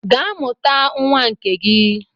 Gaa mụta nwa nke gị!